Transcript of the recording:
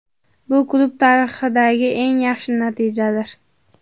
Bu klub tarixidagi eng yaxshi natijadir.